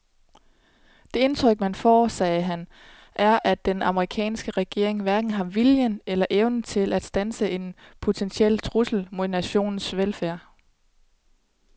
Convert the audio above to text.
Det indtryk man får, sagde han, er at den amerikanske regering hverken har viljen eller evnen til at standse en potentiel trussel mod nationens velfærd.